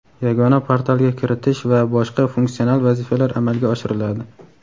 yagona portalga kiritish va boshqa funksional vazifalar amalga oshiriladi.